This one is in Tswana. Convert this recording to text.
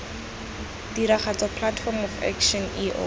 tiragatso platform of action eo